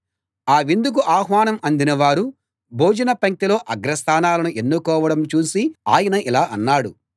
ఆ విందుకు ఆహ్వానం అందినవారు భోజనపంక్తిలో అగ్ర స్థానాలను ఎన్నుకోవడం చూసి ఆయన ఇలా అన్నాడు